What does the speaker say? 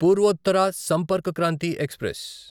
Purvottar Sampark Kranti express